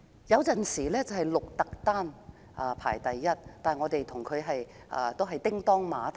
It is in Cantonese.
雖然有時會是鹿特丹排名第一，但我們與鹿特丹一直"叮噹馬頭"。